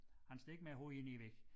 Han står ikke med æ hoved ind i æ væg